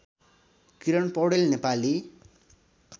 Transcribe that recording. Kiran Paudel Nepali